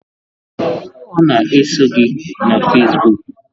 Ọ na-eso gị na Facebook?